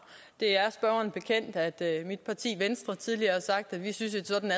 det er spørgeren bekendt at mit parti venstre tidligere har sagt at vi synes at sådan